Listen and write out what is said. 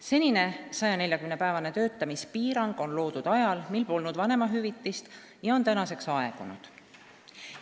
Senine 140-päevane töötamispiirang on loodud ajal, mil polnud vanemahüvitist, nüüdseks on see aegunud.